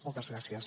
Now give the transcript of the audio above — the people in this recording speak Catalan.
moltes gràcies